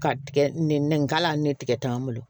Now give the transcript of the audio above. Ka tigɛ nin ka la ni tigɛ t'an bolo